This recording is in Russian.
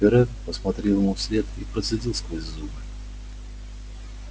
пиренн посмотрел ему вслед и процедил сквозь зубы